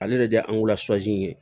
Ale de ye ye